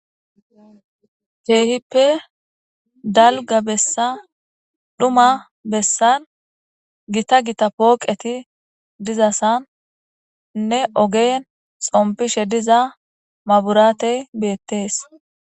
Keehippe dalga bessa dhuma bessan gita gita pooqeti dizassan nne ogen xompishe diza maburatey beettees